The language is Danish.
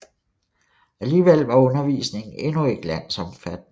Alligevel var undervisningen endnu ikke landsomfattende